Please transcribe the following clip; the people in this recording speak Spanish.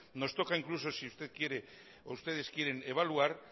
nos toca incluso si ustedes quieren evaluar